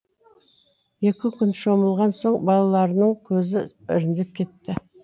екі күн шомылған соң балаларының көзі іріңдеп кетті